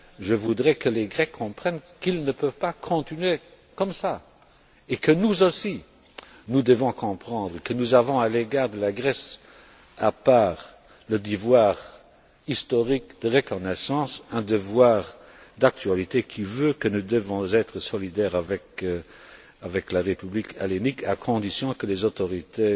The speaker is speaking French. Je voudrais que les Grecs comprennent qu'ils ne peuvent pas continuer comme cela et que, nous aussi, nous comprenions que nous avons à l'égard de la Grèce, à part le devoir historique de reconnaissance, un devoir d'actualité qui veut que nous soyons solidaires de la République hellénique, à condition que les autorités